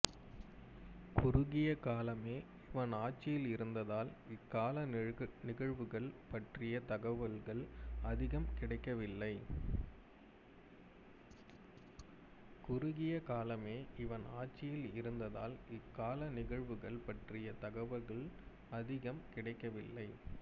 குறுகிய காலமே இவன் ஆட்சியில் இருந்ததால் இக்கால நிகழ்வுகள் பற்றிய தகவல்கள் அதிகம் கிடைக்கவில்லை